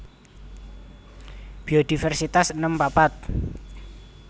Biodiversitas enem papat